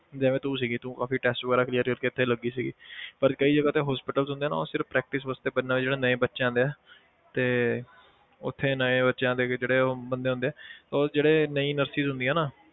ਜਿਵੇਂ ਤੂੰ ਸੀਗੀ ਤੂੰ ਕਾਫ਼ੀ test ਵਗ਼ੈਰਾ clear ਕਰਕੇ ਇੱਥੇ ਲੱਗੀ ਸੀਗੀ ਪਰ ਕਈ ਜਗ੍ਹਾ ਤੇ hospitals ਹੁੰਦੇ ਨਾ ਉਹ ਸਿਰਫ਼ practice ਵਾਸਤੇ ਬਣਨਾ ਹੋਏ ਜਿਹੜਾ ਨਵੇਂ ਬੱਚੇ ਆਉਂਦੇ ਆ ਤੇ ਉੱਥੇ ਨਵੇਂ ਬੱਚੇ ਆਉਂਦੇ ਕਿ ਜਿਹੜੇ ਉਹ ਬੰਦੇ ਹੁੰਦੇ ਆ ਉਹ ਜਿਹੜੇ ਨਵੀਂ nurses ਹੁੰਦੀਆਂ ਨਾ,